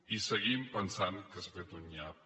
i seguim pensant que s’ha fet un nyap